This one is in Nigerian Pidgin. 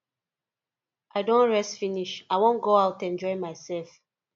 i don rest finish i wan go out enjoy myself